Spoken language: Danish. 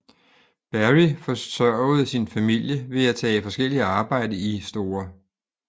Berry forsørgede sin familie ved at tage forskelligt arbejde i St